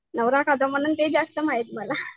नवरा खातो म्हणून तेच जास्त माहित मला.